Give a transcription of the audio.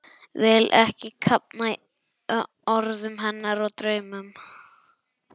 Vil ekki kafna í orðum hennar og draumum.